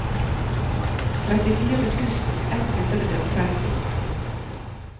trettifire tusen ett hundre og tretti